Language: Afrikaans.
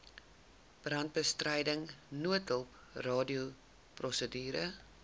brandbestryding noodhulp radioprosedure